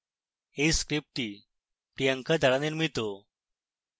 এই script priyanka দ্বারা নির্মিত আই আই টী বোম্বে থেকে আমি কৌশিক দত্ত বিদায় নিচ্ছি